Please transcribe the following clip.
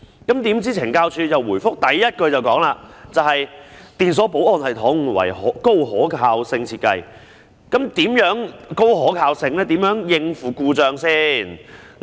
豈料，懲教署在回覆的第一句便說："電鎖保安系統為高可靠性設計"，那麼，是怎樣高可靠性，如何應付故障呢？